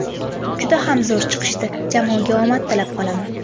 Juda ham zo‘r chiqishdi, jamoaga omad tilab qolaman.